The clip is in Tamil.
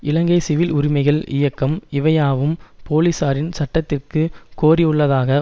இலங்கை சிவில் உரிமைகள் இயக்கம் இவையாவும் போலிசாரின் சட்டத்திற்கு கோரியுள்ளதாக